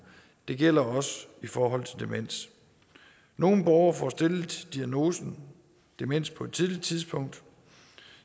det gælder også i forhold til demens nogle borgere får stillet diagnosen demens på et tidligt tidspunkt